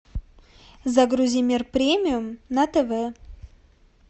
загрузи мир премиум на тв